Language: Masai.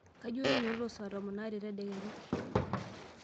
kayieu nainyiototo saa tomon aare tedekenya